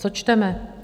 Co čteme?